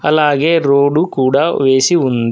అలాగే రోడ్డు కూడా వేసి ఉంది.